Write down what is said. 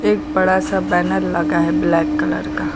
एक बड़ा सा बैनर लगा है ब्लैक कलर का।